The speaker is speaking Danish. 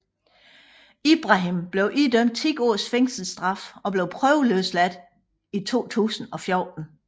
Ibrahim blev idømt ti års fængselsstraf og blev prøveløsladt i 2014